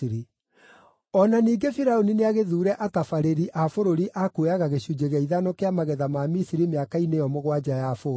O na ningĩ Firaũni nĩagĩthuure atabarĩri a bũrũri a kuoyaga gĩcunjĩ gĩa ithano kĩa magetha ma Misiri mĩaka-inĩ ĩyo mũgwanja ya bũthi.